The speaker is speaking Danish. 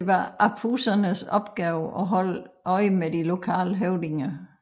Det var Apusernes opgave at holde øje med de lokale høvdinger